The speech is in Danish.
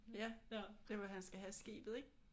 Ja der hvor han skal have skibet ik?